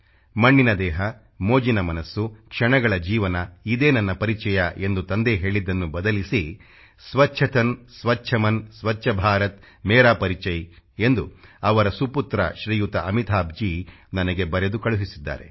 ಮಣ್ಣಿನ ದೇಹ ಮೋಜಿನ ಮನಸ್ಸು ಕ್ಷಣಗಳ ಜೀವನ ಇದೇ ನನ್ನ ಪರಿಚಯ ಎಂದು ತಂದೆ ಹೇಳಿದ್ದನ್ನು ಬದಲಿಸಿ ಸ್ವಚ್ಛ ತನ್ ಸ್ವಚ್ಛ ಮನ್ ಸ್ವಚ್ಛ ಭಾರತ್ ಮೇರಾ ಪರಿಚಯ್ ಎಂದು ಅವರ ಸುಪುತ್ರ ಅಮಿತಾಭ್ಜೀ ನನಗೆ ಬರೆದು ಕಳಿಸಿದ್ದಾರೆ